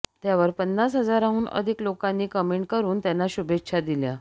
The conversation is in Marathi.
त्यावर पन्नास हजारांहून अधिक लोकांनी कमेंट करून त्यांना शुभेच्छा दिल्या